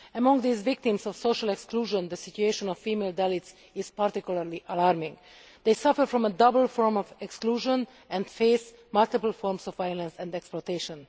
Among these victims of social exclusion, the situation of female Dalits is particularly alarming. They suffer from a double form of exclusion and face multiple forms of violence and exploitation.